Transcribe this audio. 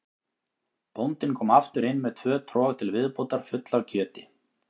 Bóndinn kom aftur inn með tvö trog til viðbótar full af kjöti.